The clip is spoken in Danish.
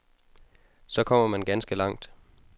Så kommer man ganske langt.